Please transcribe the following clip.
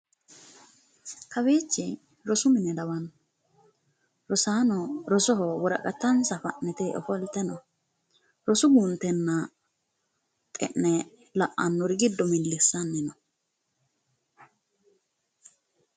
Kawiichi rosu mine lawanno rosaano rosoho woraqatansa fa'nite ofolte no rosu guuntenna xe'ne la'annori giddo millissanni no.